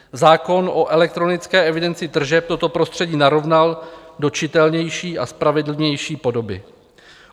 Zákon o elektronické evidenci tržeb toto prostředí narovnal do čitelnější a spravedlivější podoby.